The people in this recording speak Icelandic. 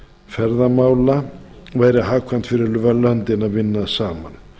ferðamála væri hagkvæmt fyrir löndin að vinna saman